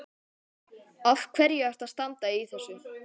Af hverju ertu að standa í þessu?